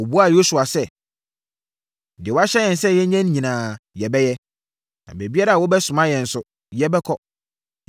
Wɔbuaa Yosua sɛ, “Deɛ woahyɛ yɛn sɛ yɛnyɛ nyinaa yɛbɛyɛ, na baabiara a wobɛsoma yɛn nso, yɛbɛkɔ.